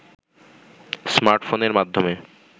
smart ফোনের মাধ্যমে